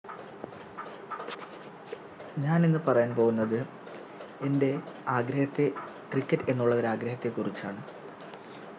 ഞാനിന്ന് പറയാൻ പോകുന്നത് എന്റെ ആഗ്രഹത്തെ Cricket എന്നുള്ള ഒരു ആഗ്രഹത്തെക്കുറിച്ചാണ്